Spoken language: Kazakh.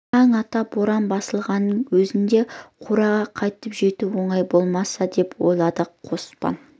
таң ата боран басылғанның өзінде қораға қайтып жету оңай болмас деп ойлады қоспан